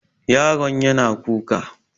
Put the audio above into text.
Yaron yana kuka.